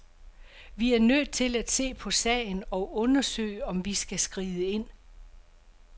Vi er nødt til at se på sagen og undersøge, om vi skal skride ind.